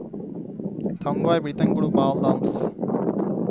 Tango er blitt en global dans.